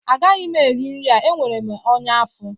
Agaghị m eri nri a enwere m ọnya afọ